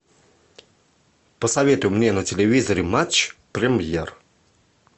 посоветуй мне на телевизоре матч премьер